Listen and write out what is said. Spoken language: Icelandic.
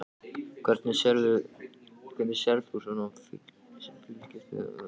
Hvernig sérð þú svona sem fylgist með stjórnmálum sem stjórnmálafræðingur?